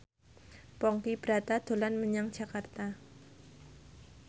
Ponky Brata dolan menyang Jakarta